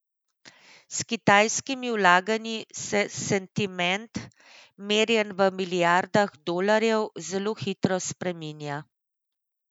S kitajskimi vlaganji se sentiment, merjen v milijardah dolarjev, zelo hitro spreminja.